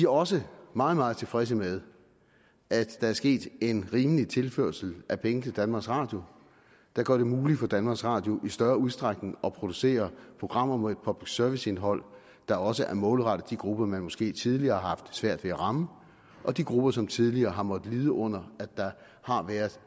også meget meget tilfredse med at der er sket en rimelig tilførsel af penge til danmarks radio der gør det muligt for danmarks radio i større udstrækning at producere programmer med et public service indhold der også er målrettet de grupper som man måske tidligere har haft svært ved at ramme og de grupper som tidligere har måttet lide under at der har været